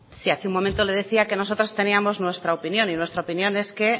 sí hace un momento le decía que nosotros teníamos nuestra opinión y nuestra opinión es que